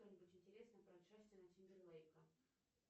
что нибудь интересное про джастина тимберлейка